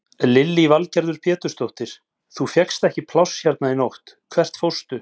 Lillý Valgerður Pétursdóttir: Þú fékkst ekki pláss hérna í nótt, hvert fórstu?